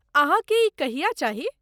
अहाँकेँ ई कहिया चाही?